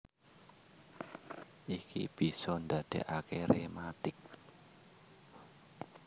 Iki bisa ndadékaké rématik